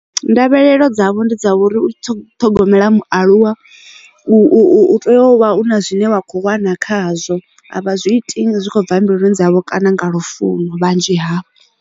Ndavhelelo dzavho ndi dza uri u ṱhogomela mualuwa u tea u vha una zwine wa kho wana khazwo avha zwi iti zwi khou bva mbiluni dzavho kana nga lufuno vhanzhi hafhu.